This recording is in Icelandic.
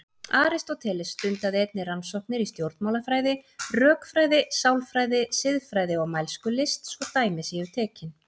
Aristóteles stundaði einnig rannsóknir í stjórnmálafræði, rökfræði, sálfræði, siðfræði og mælskulist svo dæmi séu tekin.